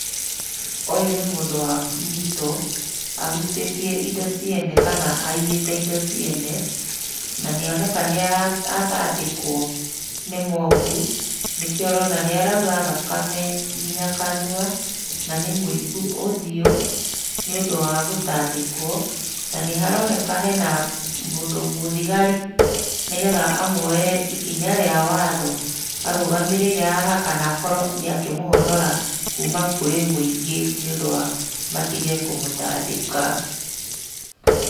Ũyũ nĩ mũndũ wanyitwo, ahutĩtie indo ciene kana aiyĩte indo ciene, na nĩoneka nĩatandĩkwo nĩ mobu, nĩkĩo ũrona nĩ araura thakame kinya kanua, na nĩmũibu ũthiũ, nĩũndũ wa gutandĩkwo. Na nĩharoneka hena mũndũ mũthigari nĩgetha amuoere ikinya rĩa watho, arũgamĩrĩire haha kana akorwo nĩakĩmũhonora kuma kũrĩ mũingĩ nĩũndũ wa matige kũmũtandĩka.